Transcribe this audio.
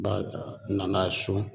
B'a a nana ye so